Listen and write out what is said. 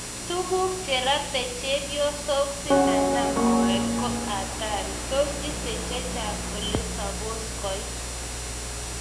Tuguk cherate chepyosok simanam moet ko hatari, tos itee chechang ole supos koit?